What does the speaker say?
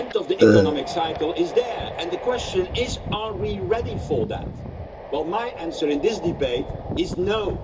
The end of the economic cycle is there and the question is are we ready for that? Well, my answer in this debate is no'.